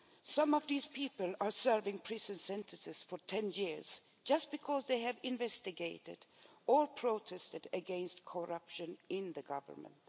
Some of these people are serving prison sentences for ten years just because they have investigated, or protested against, corruption in the Government.